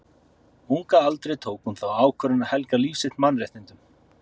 Ung að aldri tók hún þá ákvörðun að helga líf sitt mannréttindum.